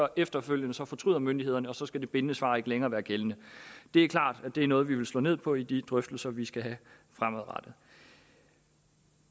efterfølgende fortryder myndighederne og så skal det bindende svar ikke længere være gældende det er klart at det er noget vi vil slå ned på i de drøftelser vi skal have fremadrettet